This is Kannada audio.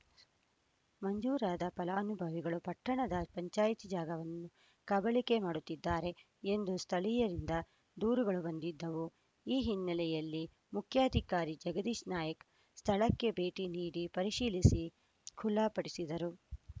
ಮಂಜೂರಾದ ಫಲಾನುಭವಿಗಳು ಪಟ್ಟಣದ ಪಂಚಾಯ್ತಿ ಜಾಗವನ್ನು ಕಬಳಿಕೆ ಮಾಡುತ್ತಿದ್ದಾರೆ ಎಂದು ಸ್ಥಳೀಯರಿಂದ ದೂರುಗಳು ಬಂದಿದ್ದವು ಈ ಹಿನ್ನೆಲೆಯಲ್ಲಿ ಮುಖ್ಯಾಧಿಕಾರಿ ಜಗದೀಶ ನಾಯಕ್ ಸ್ಥಳಕ್ಕೆ ಭೇಟಿ ನೀಡಿ ಪರಿಶೀಲಿಸಿ ಖುಲ್ಲಾಪಡಿಸಿದರು